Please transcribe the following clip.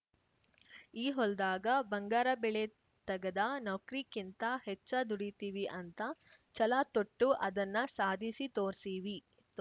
ಈ ಹೊಲ್ದಾಗ ಬಂಗಾರ ಬೆಳೆ ತಗದ ನೌಕ್ರಿಕ್ಕಿಂತ ಹೆಚ್ಚ ದುಡಿತಿವಿ ಅಂತ ಛಲತೊಟ್ಟು ಅದನ್ನ ಸಾಧಿಸಿ ತೋರ್ಸೀವಿ